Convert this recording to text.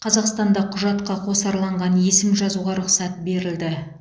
қазақстанда құжатқа қосарланған есім жазуға рұқсат берілді